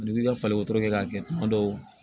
N'i b'i ka wotoro kɛ k'a kɛ kuma dɔw